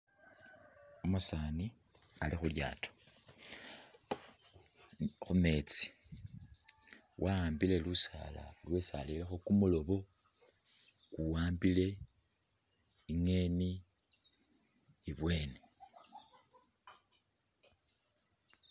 Umusaani Ali khulyaato khumetsi wa'ambile lusaala lwesi arerekho kumuloobo ku'ambile i'ngeni ibweni